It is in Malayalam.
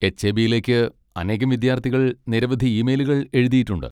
എച്.എ.ബി.യിലേക്ക് അനേകം വിദ്യാർത്ഥികൾ നിരവധി ഇമെയിലുകൾ എഴുതിയിട്ടുണ്ട്.